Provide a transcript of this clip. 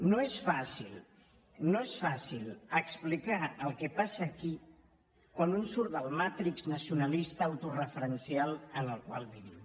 no és fàcil no és fàcil explicar el que passa aquí quan un surt del matrix nacionalista autoreferencial en el qual vivim